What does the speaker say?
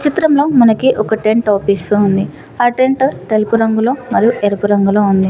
చిత్రంలో మనకి ఒక టెంట్ అవుపిస్తూ ఉంది ఆ టెంట్ తెలుపు రంగులో మరియు ఎరుపు రంగులో ఉంది.